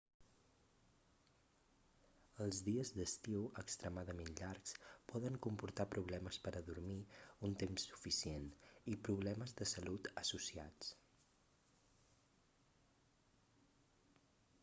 els dies d'estiu extremadament llargs poden comportar problemes per a dormir un temps suficient i problemes de salut associats